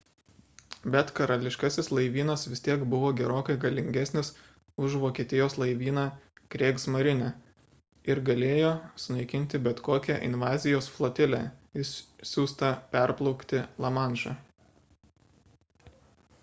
bet karališkasis laivynas vis tiek buvo gerokai galingesnis už vokietijos laivyną kriegsmarine ir galėjo sunaikinti bet kokią invazijos flotilę išsiųstą perplaukti lamanšą